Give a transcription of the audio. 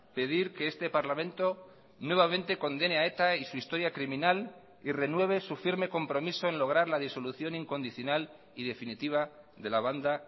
pedir que este parlamento nuevamente condene a eta y su historia criminal y renueve su firme compromiso en lograr la disolución incondicional y definitiva de la banda